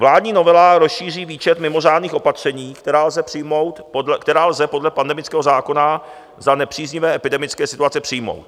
Vládní novela rozšíří výčet mimořádných opatření, která lze podle pandemického zákona za nepříznivé epidemické situace přijmout.